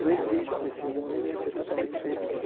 Não existe esse mundo se ser totalmente feliz.